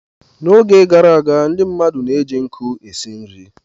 N'oge gara aga, ndị mmadụ na-eji nkụ esi nri.